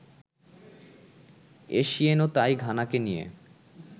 এসিয়েনও তাই ঘানাকে নিয়ে